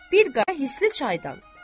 Bir qədər hisli çaydan.